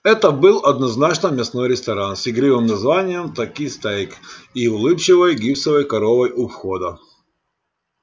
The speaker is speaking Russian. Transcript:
это был однозначно мясной ресторан с игривым названием таки стейк и улыбчивой гипсовой коровой у входа